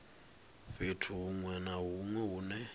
fhethu huṅwe na huṅwe hune